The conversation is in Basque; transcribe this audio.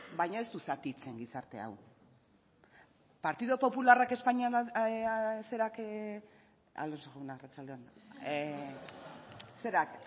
baina ez du zatitzen gizarte hau partidu popularrak espainiako